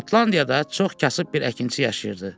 Şotlandiyada çox kasıb bir əkinçi yaşayırdı.